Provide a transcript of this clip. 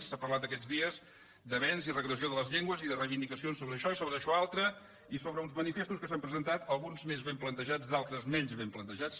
s’ha parlat aquests dies d’avenç i regressió de les llengües i de re·ivindicacions sobre això i sobre això altre i sobre uns manifestos que s’han presentat alguns més ben plan·tejats d’altres menys ben plantejats